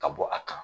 Ka bɔ a kan